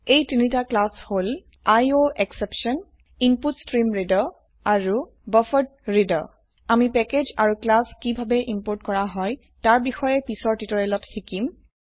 এই তিনটি ক্লাস হল আইঅএসচেপশ্যন ইনপুটষ্ট্ৰীমৰিডাৰ আৰু বাফাৰেড্ৰেডাৰ আমি প্যাকেজ আৰু ক্লাস কিভাবে ইম্পোৰ্ট কৰা হয় তাৰ বিষয়ে পিছৰ টিউটোৰিয়েলত শিকিব